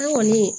An kɔni